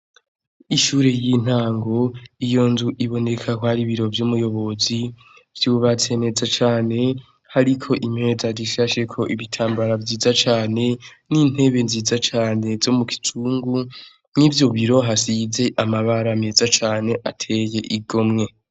Ishure y'intango iyo nzu iboneka kwari ibiro vy'umuyobozi vyubatse neza cane hariko impeza rishasheko ibitambara vyiza cane n'intebe nziza cane zo mu gicungu nk'ivyo biro hasize amabara meza cane ateye igo mwe.